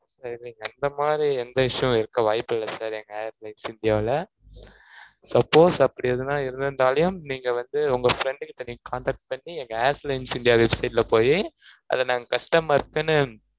இந்த மாதிரி, எந்த issue வும் இருக்க வாய்ப்பு இல்லை, sir எங்க air lines india ல. Suppose அப்படி எதுவும் இருந்துருந்தாலும், நீங்க வந்து, உங்க friend கிட்ட, நீங்க contact பண்ணி, எங்க indian airlines india website ல போயி, அதை நாங்க customer க்குன்னு,